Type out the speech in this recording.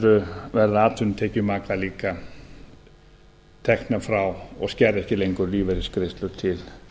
er verða atvinnutekjur maka líka teknar frá og skerða ekki lengur lífeyrisgreiðslur til